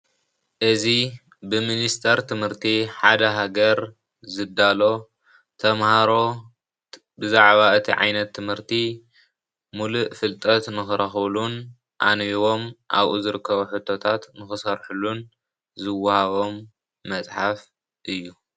እዚ ብሚኒስተር ትምህርቲ ሓደ ሃገር ዝዳሎ ተምሃሮ ብዛዕባ እቲ ዓይነት ትምህርቲ ሙሉእ ፍልጠት ንክረክቡሉን ኣንቢቦም ኣብኡ ዝርከቡ ሑቶታት ንክሰርሕሉን ዝወሃቦም መፅሓፍ እዩ፡፡